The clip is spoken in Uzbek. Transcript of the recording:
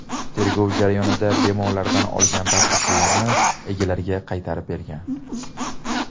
Tergov jarayonida bemorlardan olgan barcha pullarni egalariga qaytarib bergan.